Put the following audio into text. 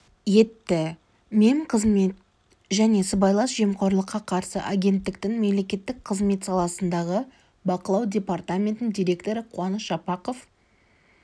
етті мемқызмет және сыбайлас жемқорлыққа қарсы агенттіктің мемлекеттік қызмет саласындағы бақылау департаментінің директоры қуаныш жапақов